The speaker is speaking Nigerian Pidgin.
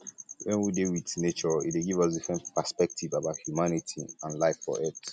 when we dey with nature e dey um give us a differnt perspective about humanity and life for earth